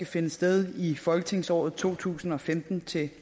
finde sted i folketingsåret to tusind og femten til